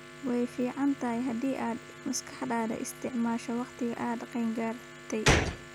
Way fiican tahay haddii aad maskaxdaada isticmaasho wakhtigan waad qeeyn gartaay